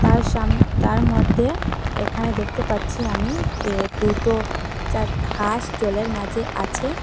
আর সাম তার মধ্যে এখানে দেখতে পাচ্ছি আমি কে দুটো চা হাঁস জলের মাঝে আছে।